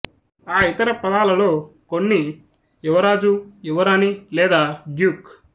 ఆ ఇతర పదాలలో కొన్ని యువరాజు యువరాణి లేదా డ్యూక్